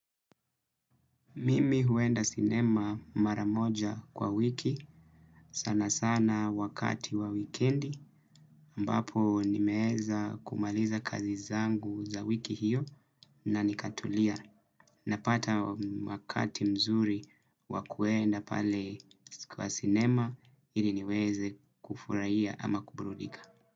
Mimi huenda sinema mara moja kwa wiki, sana sana wakati wa wikendi, ambapo nimeeza kumaliza kazi zangu za wiki hiyo na nikatulia. Napata wakati mzuri wa kuenda pale siku ya sinema, ili niweze kufuraia ama kuburudika.